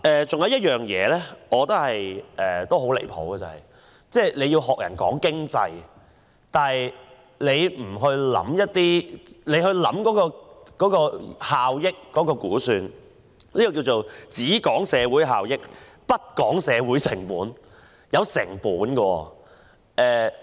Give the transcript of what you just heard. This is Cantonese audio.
此外，我覺得很離譜的是，政府講經濟但不思考有關效益的估算，簡直是"只講社會效益，不講社會成本"。